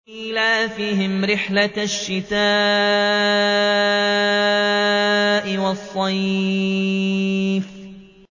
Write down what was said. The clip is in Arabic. إِيلَافِهِمْ رِحْلَةَ الشِّتَاءِ وَالصَّيْفِ